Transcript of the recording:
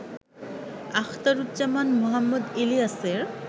আখতারুজ্জামান মোহাম্মদ ইলিয়াসের